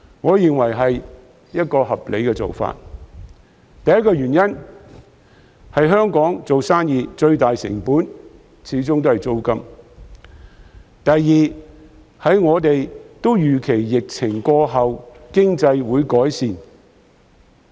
我認為這是合理的做法，首先是因為在香港做生意的最大成本始終在於租金，其次是我們預期疫情過後經濟也會有改善。